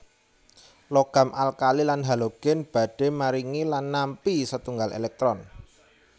Logam alkali lan halogen badhe maringi lan nampi setunggal elektron